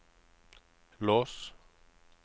lås